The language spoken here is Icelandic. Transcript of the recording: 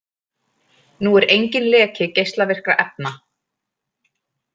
Nú er enginn leki geislavirkra efna